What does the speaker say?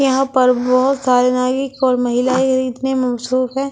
यहां पर बहुत सारे महिलाएं इतने मशरूफ है।